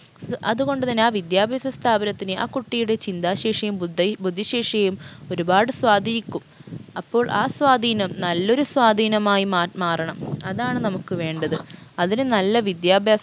അതുകൊണ്ട് തന്നെ ആ വിദ്യാഭ്യാസ സ്ഥാപനത്തിന് ആ കുട്ടിയുടെ ചിന്താശേഷിയും ബുദ്ധ ബുദ്ധിശേഷിയും ഒരുപാട് സ്വാധീനിക്കും അപ്പോൾ ആ സ്വാധീനം നല്ലൊരു സ്വാധീനമായി മാ മാറണം അതാണ് നമുക്ക് വേണ്ടത് അതിന് നല്ല വിദ്യാഭ്യാസ